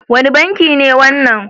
Wane banki ne wannan?